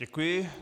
Děkuji.